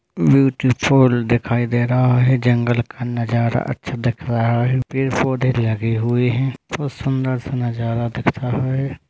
Beautiful दिखाई दे रहा है जंगल का नजारा अच्छा दिख रहा है पेड़ पौधे लगे हुए है बहुत सुंदर सा नजारा दिख रहा है।